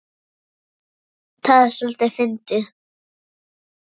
Það er soldið fyndið.